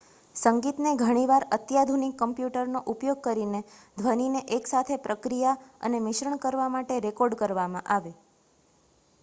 સંગીતને ઘણી વાર અત્યાધુનિક કમ્પ્યુટરનો ઉપયોગ કરીને ધ્વનિને એક સાથે પ્રક્રિયા અને મિશ્રણ કરવા માટે રેકોર્ડ કરવામાં આવે